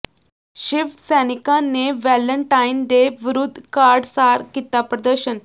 ਸ਼ਿਵ ਸੈਨਿਕਾਂ ਨੇ Valentine day ਵਿਰੁੱਧ ਕਾਰਡ ਸਾੜ ਕੀਤਾ ਪ੍ਰਦਰਸ਼ਨ